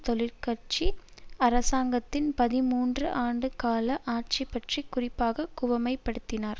தொழிற்கட்சி அரசாங்கத்தின் பதிமூன்று ஆண்டு கால ஆட்சி பற்றி குறிப்பாக குவிமையப்படுத்தினார்